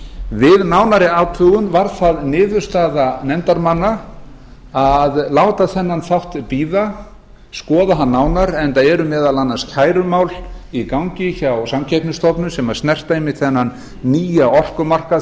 við nánari athugun varð það niðurstaða nefndarmanna að láta þennan þátt bíða skoða hann nánar enda eru meðal annars kærumál í gangi hjá samkeppnisstofnun sem snerta einmitt þennan nýja orkumarkað